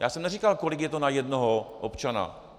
Já jsem neříkal, kolik je to na jednoho občana.